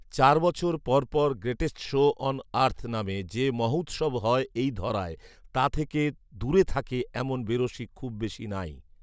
চার বছর পর পর ‘গ্রেটেস্ট শো অন আর্থ’ নামে যে মহৌৎসব হয় এই ধরায়, তা থেকে দূরে থাকে এমন বেরসিক খুব বেশী নাই